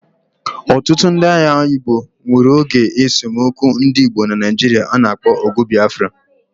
Otutu ndi agha Igbo nwuru oge esomokwu ndi Igbo na Naijiri ana akpo ogu bBafra